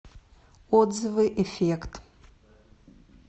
отзывы эффект